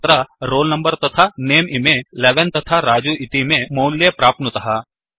अत्र roll number तथा नमे इमे11 तथा रजु इतीमे मौल्ये प्राप्नुतः